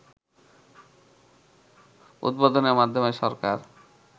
উদ্বোধনের মাধ্যমে সরকার